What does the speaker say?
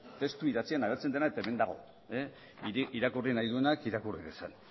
testu idatzian agertzen dena eta hemen dago irakurri nahi duenak irakurri dezala